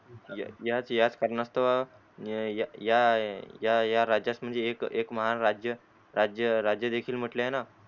याच याच कारणास्तव या या राज्यात म्हणजे एक महान राज्य राज्य देखील म्हटले आहे.